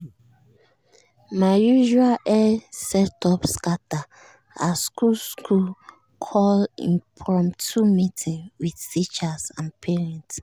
my usual hair setup scatter as school school call impromptu meeting with teacher and parent.